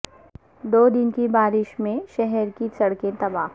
دو دن کی بارش میں شہر کی سڑکیں تباہ